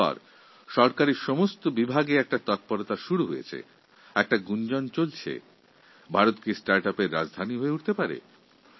তারপর থেকে সরকারের প্রতিটি দপ্তরে এই কথা ছড়িয়ে পড়ে যে ভারত কি স্টার্ট ইউপি ক্যাপিটাল হয়ে উঠতে পারে